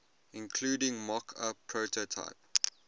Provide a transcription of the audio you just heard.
including mockup prototype